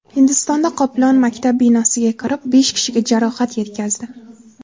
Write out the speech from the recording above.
Hindistonda qoplon maktab binosiga kirib, besh kishiga jarohat yetkazdi .